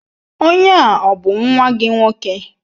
Onye a ọ bụ nwa gị nwoke?